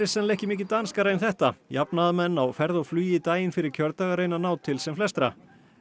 sennilega ekki mikið danskari en þetta jafnaðarmenn á ferð og flugi daginn fyrir kjördag að reyna að ná til sem flestra